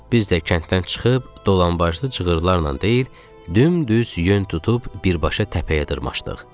Biz də kənddən çıxıb dolanbaşlı cığırlarla deyil, dümdüz yön tutub birbaşa təpəyə dırmaşdıq.